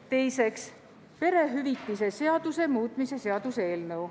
Teiseks, perehüvitiste seaduse muutmise seaduse eelnõu.